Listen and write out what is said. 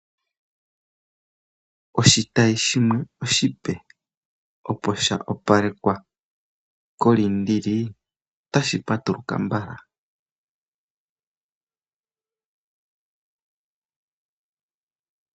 Oshitayi shimwe oshipe opo sha opalekwa koLiindili, otashi patuluka mbala.